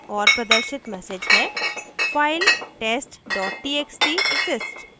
और प्रदर्शित message हैfile test txt exists